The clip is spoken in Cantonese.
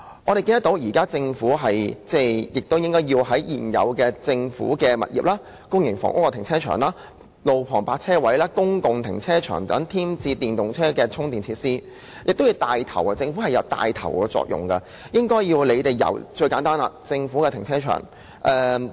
我們認為，政府應該在政府物業、公營房屋停車場、路旁泊車位和公共停車場等地方添置電動車充電設施，以起帶頭作用，最低限度應該由政府停車場開始做起。